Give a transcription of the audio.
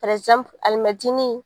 alimɛtini.